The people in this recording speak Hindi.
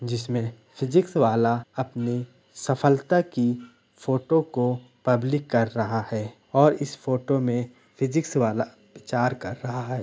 जिसमें फिजिक्स वाला अपनी सफलता की फोटो को पब्लिक कर रहा है और इस फोटो में फिजिक्स वाला प्रचार कर रहा है।